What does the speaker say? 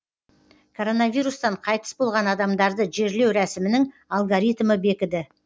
коронавирустан қайтыс болған адамдарды жерлеу рәсімінің алгоритмі бекіді